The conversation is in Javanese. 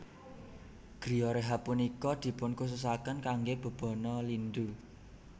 Griyo rehab punika dipunkhususaken kangge bebana lindu